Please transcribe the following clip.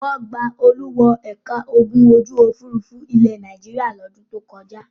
Wọ́n gba Olú wọ ẹ̀ka ogun ojú-òfurufú ilẹ̀ Nàìjíríà lọ́dún tó kọjá.